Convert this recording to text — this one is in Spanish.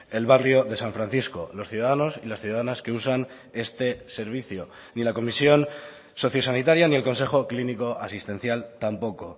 el barrio de san francisco los ciudadanos y las ciudadanas que usan este servicio ni la comisión sociosanitaria ni el consejo clínico asistencial tampoco